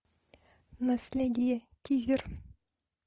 наследие тизер